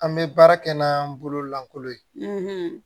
An bɛ baara kɛ n'an bolo lankolon ye